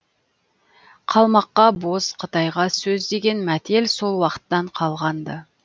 қалмаққа боз қытайға сөз деген мәтел сол уақыттан қалған ды